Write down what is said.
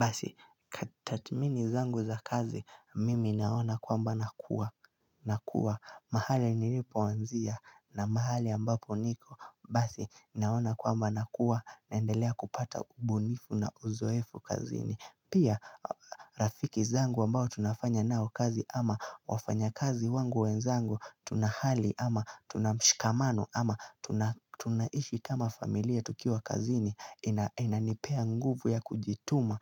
Basi tathmini zangu za kazi mimi naona kwamba nakuwa nakuwa mahali nilipoanzia na mahali ambapo niko Basi naona kwamba nakuwa naendelea kupata ubunifu na uzoefu kazini Pia rafiki zangu ambao tunafanya nao kazi ama wafanya kazi wangu wenzangu Tuna hali ama tunamshikamano ama tunaishi kama familia tukiwa kazini Inanipea nguvu ya kujituma